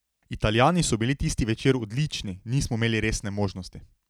Italijani so bili tisti večer odlični, nismo imeli resne možnosti.